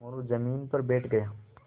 मोरू ज़मीन पर बैठ गया